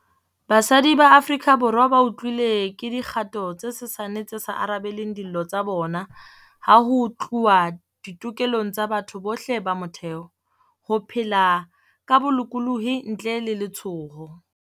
Basadi ba Aforika Borwa bautlwile ke dikgato tse sesane tse sa arabeleng dillo tsa bona ha ho tluwa ditokelong tsa batho bohle tsa motheo - ho phela ka bo-lokolohi ntle le letshoho.